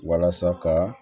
Walasa ka